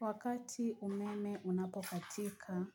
Wakati umeme unapokatika,